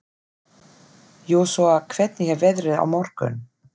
Jósúa, hvernig er veðrið á morgun?